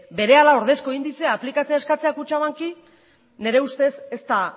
berehala ordezko indizea aplikatzea eskatzea kutxabanki nire ustez ez da